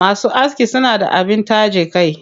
Masu aski suna da abin taje kai.